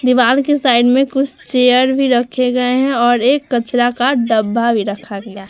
दीवाल के साइड में कुछ चेयर भी रहे गए हैं और एक कचड़ा का ढब्बा भी रखा गया है।